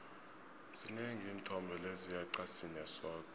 zinengi iinthombe lezi yeqa sinye sodwa